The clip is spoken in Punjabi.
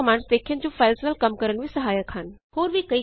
ਅਸੀਂ ਕੁਝ ਕਮਾੰਡਸ ਦੇਖਿਆਂ ਜੋ ਫਾਈਲਜ਼ ਨਾਲ ਕੰਮ ਕਰਨ ਵਿੱਚ ਸਹਾਇਕ ਹਨ